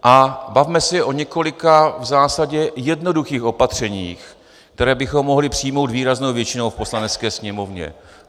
A bavme se o několika v zásadě jednoduchých opatřeních, která bychom mohli přijmout výraznou většinou v Poslanecké sněmovně.